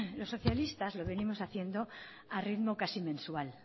los socialistas los venimos haciendo a ritmo casi mensual